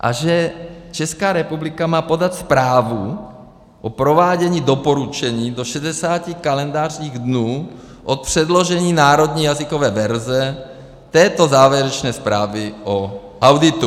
A že Česká republika má podat zprávu o provádění doporučení do 60 kalendářních dnů od předložení národní jazykové verze této závěrečné zprávy o auditu.